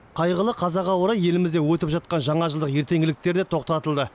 қайғылы қазаға орай елімізде өтіп жатқан жаңажылдық ертеңгіліктер де тоқтатылды